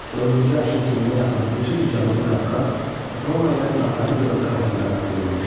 Dördüncü əsrin sonuna yaxın bütün Cənubi Qafqaz Roma ilə Sasani dövləti arasında bölünmüşdü.